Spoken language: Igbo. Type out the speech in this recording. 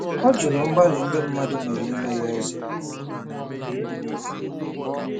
Ọ jụrụ mgbalị ndị mmadụ mere ime ya eze.